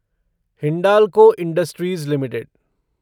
Hindalco industries limited